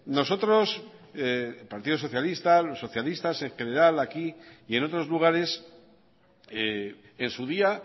nosotros el partido socialista los socialistas en general aquí y en otros lugares en su día